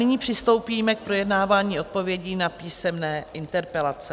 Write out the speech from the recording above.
Nyní přistoupíme k projednávání odpovědí na písemné interpelace.